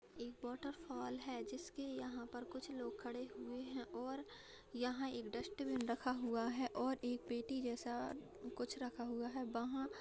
एक वॉटरफाल है जिसके यहां पर कुछ लोग खड़े हुए है और यहां एक डस्टबिन रखा हुआ है और एक पेटी जैसा कुछ रखा हुआ है वहां।